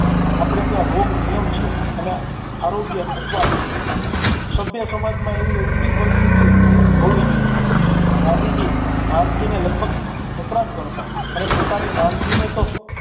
આપણે ત્યાં રોગ નિયમ છે અને આરોગ્ય અપવાદ છે સભ્ય સમાજ માં એવી ઉલ્ટી પરિસ્થિતિ હોવી જોઈએ ગાંધીજી માંદગીને લગભગ ખતરાજ ગણતા અને પોતાની માંદગીને તો